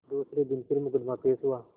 दूसरे दिन फिर मुकदमा पेश हुआ